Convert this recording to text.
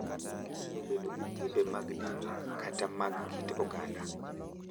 Ginyalo bedo gi timbe mag dini kata mag kit oganda,